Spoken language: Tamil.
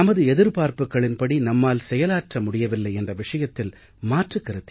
நமது எதிர்ப்பார்ப்புக்களின்படி நம்மால் செயலாற்ற முடியவில்லை என்ற விஷயத்தில் மாற்றுக் கருத்து